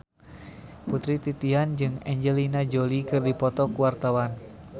Putri Titian jeung Angelina Jolie keur dipoto ku wartawan